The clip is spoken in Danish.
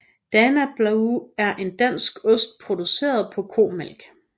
Danablu er en dansk ost produceret på komælk